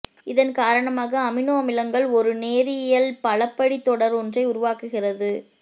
இதன் காரணமாக அமினோ அமிலங்கள் ஒரு நேரியல் பலபடித் தொடர் ஒன்றை உருவாக்குகிறது